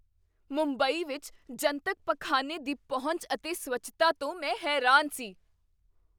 ਮੁੰਬਈ ਵਿੱਚ ਜਨਤਕ ਪਖਾਨੇ ਦੀ ਪਹੁੰਚ ਅਤੇ ਸਵੱਛਤਾ ਤੋਂ ਮੈਂ ਹੈਰਾਨ ਸੀ।